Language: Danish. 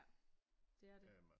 Ja det er det